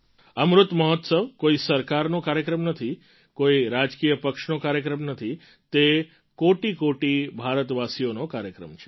અમૃત મહોત્સવ કોઈ સરકારનો કાર્યક્રમ નથી કોઈ રાજકીય પક્ષનો કાર્યક્રમ નથી તે કોટિકોટિ ભારતવાસીઓનો કાર્યક્રમ છે